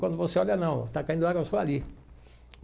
Quando você olha, não, está caindo água só ali.